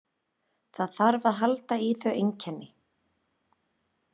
Það þarf að halda í þau einkenni.